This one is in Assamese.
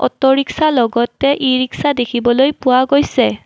অট' ৰিক্সা লগতে ই ৰিক্সা দেখিবলৈ পোৱা গৈছে।